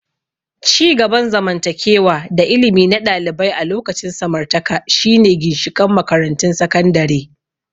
Ci gaban zamantakewa da ilimi na ɗalibai a lokacin samartaka shine ginshiƙan makarantun sakandare.